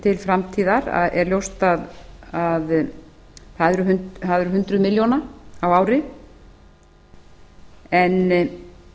til framtíðar það er ljóst að það eru hundruð milljóna á ári og